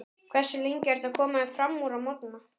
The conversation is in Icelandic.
Hversu lengi ertu að koma þér framúr á morgnanna?